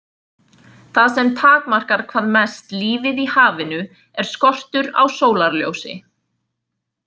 Það sem takmarkar hvað mest lífið í hafinu er skortur á sólarljósi.